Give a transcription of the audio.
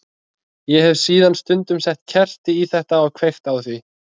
Ég hef síðan stundum sett kerti í þetta og kveikt á því.